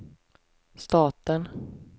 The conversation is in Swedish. staten